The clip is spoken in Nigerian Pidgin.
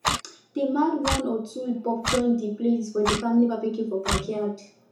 dem add one or two hip hop join the playlist for the family babecue for backyard